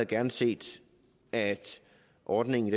gerne set at ordningen